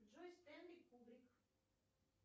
джой стэнли кубрик